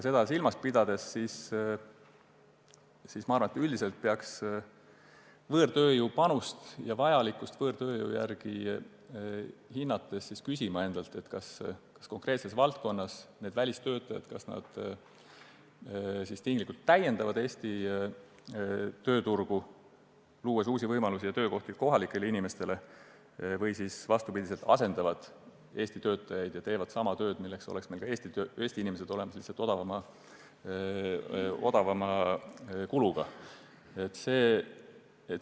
Seda silmas pidades arvan, et üldiselt peaks võõrtööjõu panust ja vajalikkust võõrtööjõu järele hinnates küsima endalt, kas konkreetses valdkonnas välistöötajad tinglikult täiendavad Eesti tööturgu, luues uusi võimalusi ja kohalikele inimestele töökohti, või on vastupidi – nad asendavad Eesti töötajaid ja teevad ära sama töö, mille jaoks oleks meil ka Eestis inimesed olemas, lihtsalt odavamalt.